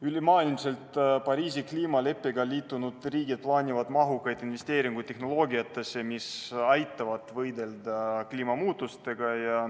Ülemaailmselt Pariisi kliimaleppega liitunud riigid plaanivad mahukaid investeeringuid tehnoloogiatesse, mis aitavad võidelda kliimamuutustega.